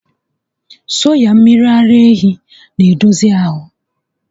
Soya mmiri ara ehi n'edozi ahụ